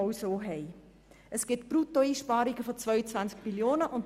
Es kommt zu Bruttoeinsparungen von 22 Mio. Franken.